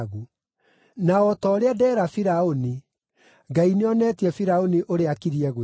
“Na o ta ũrĩa ndeera Firaũni: Ngai nĩ oneetie Firaũni ũrĩa akiriĩ gwĩka.